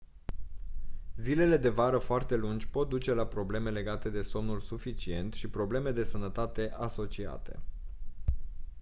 zilele de vară foarte lungi pot duce la probleme legate de somnul suficient și probleme de sănătate asociate